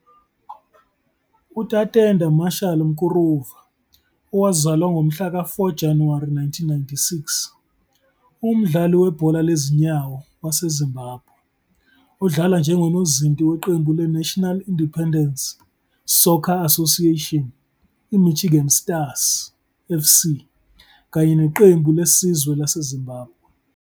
UTatenda Marshal Mkuruva, owazalwa ngomhlaka 4 Januwari 1996, ungumdlali webhola lezinyawo waseZimbabwe odlala njengonozinti weqembu leNational Independent Soccer Association iMichigan Stars FC kanye neqembu lesizwe laseZimbabwe.